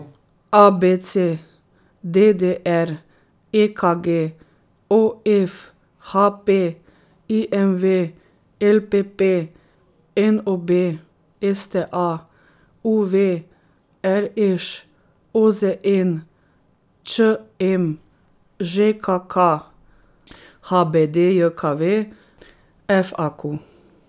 A B C; D D R; E K G; O F; H P; I M V; L P P; N O B; S T A; U V; R Š; O Z N; Č M; Ž K K; H B D J K V; F A Q.